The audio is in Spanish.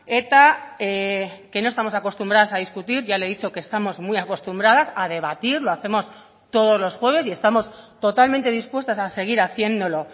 eta que no estamos acostumbradas a discutir ya le he dicho que estamos muy acostumbradas a debatir lo hacemos todos los jueves y estamos totalmente dispuestas a seguir haciéndolo